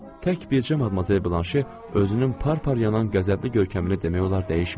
Tək bircə madmazel Blanşe özünün par-par yanan qəzəbli görkəmini demək olar dəyişmədi.